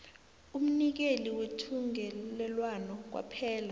umnikeli wethungelelwano kwaphela